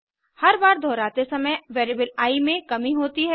हर बार दोहराते समय वेरिएबल आई में कमी होती है